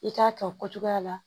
I k'a kɛ o cogoya la